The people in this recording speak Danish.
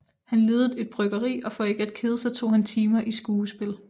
Han ledede et bryggeri og for ikke at kede sig tog han timer i skuespil